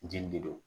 Jeli de do